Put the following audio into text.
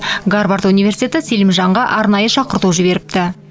гарвард университеті селимжанға арнайы шақырту жіберіпті